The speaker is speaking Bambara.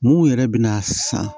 Mun yɛrɛ bɛ na san